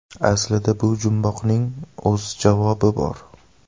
Aslida bu jumboqning o‘z javobi bor.